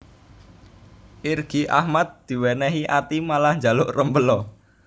Irgi Ahmad diwenehi ati malah njaluk rempela